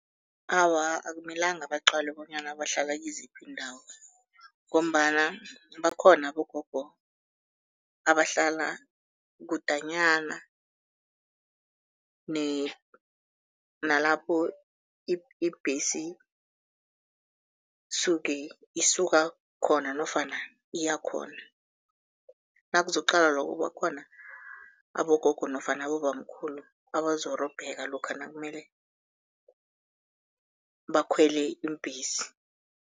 Awa, akumelanga baqalwe bonyana bahlala kiziphi iindawo ngombana bakhona abogogo abahlala kudanyana nalapho ibhesi suke isuka khona nofana iya khona. Nakuzokuqalwa lokho bakhona abogogo nofana abobamkhulu abazorobheka lokha nakumele bakhwele iimbhesi.